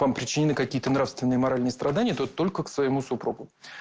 там причины какие-то нравственные моральные страдания то только к своему супругу